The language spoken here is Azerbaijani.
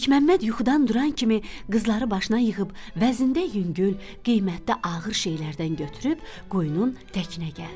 Məlikməmməd yuxudan duran kimi qızları başına yığıb vəznində yüngül, qiymətdə ağır şeylərdən götürüb quyunun təkinə gəldi.